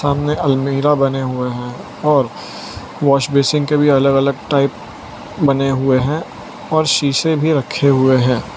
सामने अलमीरा बने हुए हैं और वॉश बेसिन के भी अलग अलग टाइप बने हुए हैं और शीशे भी रखे हुए है।